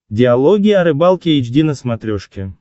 диалоги о рыбалке эйч ди на смотрешке